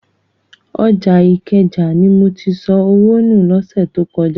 Ọjà Ìkẹjà ni mo ti sọ owó nù lọ́sẹ̀ tó kọjá.